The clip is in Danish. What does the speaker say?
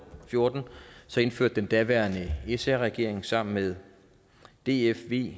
fjorten indførte den daværende sr regering sammen med df v